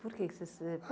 Por que que você?